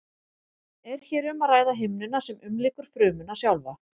er hér um að ræða himnuna sem umlykur frumuna sjálfa